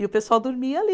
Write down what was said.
E o pessoal dormia ali.